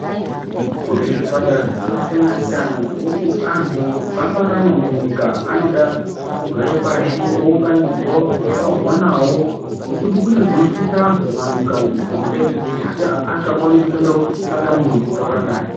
Kune zvipatara zvakasiyana-siyana zvokuti anhu paanorarama munyika anoda kugare pashi, ounganidzwa, otaurirwa nawo nekuti kune zvinoshusha anhu mumanyika umu kunze asi asikakwanisi kuenda kootsvaka muntu wokutaura naye.